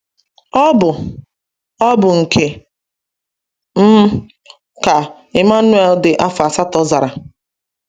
“Ọ bụ “Ọ bụ nke m,” ka Emmanuel dị afọ asatọ zara.